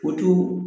O t'u